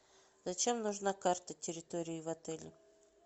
зачем нужна карта территории в отеле